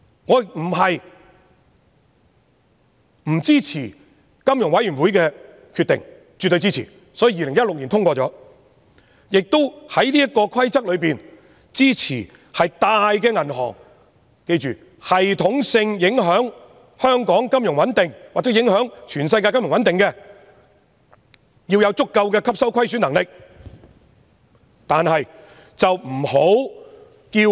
我並非不支持金融穩定理事會的決定，我是絕對支持的，所以2016年通過了法例，而且支持在這個規則之下，系統性影響香港金融穩定或全世界金融穩定的大型銀行要有足夠的吸收虧損能力。